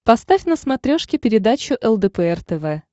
поставь на смотрешке передачу лдпр тв